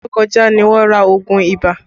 Ọṣẹ tó kọjá ní wọn ra oogun ibà